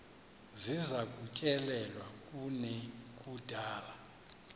ziza kutyelelwa kunekudala